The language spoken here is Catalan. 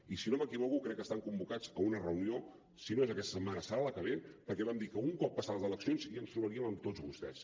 i si no m’equivoco crec que estan convocats a una reunió si no és aquesta setmana serà la que ve perquè vam dir que un cop passades les eleccions ja ens trobaríem amb tots vostès